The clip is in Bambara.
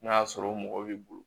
N'a y'a sɔrɔ o mɔgɔ b'i bolo